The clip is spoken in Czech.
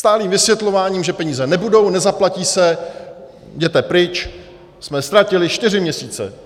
Stálým vysvětlováním, že peníze nebudou, nezaplatí se, jděte pryč, jsme ztratili čtyři měsíce.